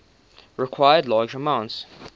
require large amounts